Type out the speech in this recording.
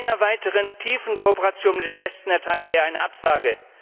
Einer weiteren tiefen Kooperation mit dem Westen erteilte er eine Absage.